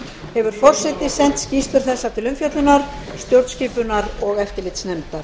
hefur forseti sent skýrslur þessar til umfjöllunar stjórnskipunar og eftirlitsnefndar